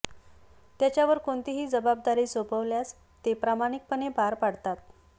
त्याच्यावर कोणतीही जबाबदारी सोपवल्यास ते प्रामाणिकपणे पार पाडतात